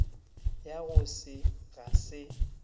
ya go se ga se